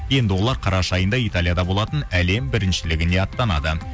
енді олар қараша айында италияда болатын әлем біріншілігіне аттанады